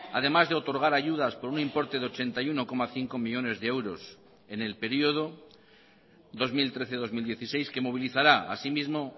además de otorgar ayudas por un importe de ochenta y uno coma cinco millónes de euros en el periodo dos mil trece dos mil dieciséis que movilizará así mismo